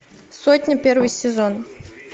сотня первый сезон